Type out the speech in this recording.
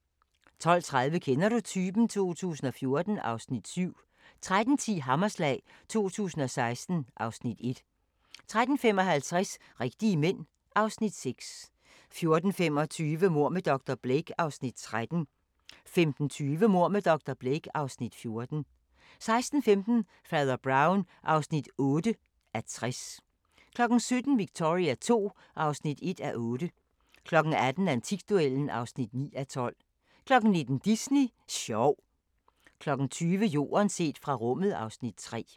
12:30: Kender du typen? 2014 (Afs. 7) 13:10: Hammerslag 2016 (Afs. 1) 13:55: Rigtige mænd (Afs. 6) 14:25: Mord med dr. Blake (Afs. 13) 15:20: Mord med dr. Blake (Afs. 14) 16:15: Fader Brown (8:60) 17:00: Victoria II (1:8) 18:00: Antikduellen (9:12) 19:00: Disney sjov 20:00: Jorden set fra rummet (Afs. 3)